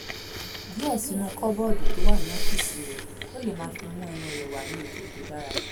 díẹ̀ sínú kọ́bọ́ọ̀dù tó wà ní ọ́fíìsì rẹ̀ kó lè máa fi mú ẹnu rẹ̀ wà ní ipò tó dára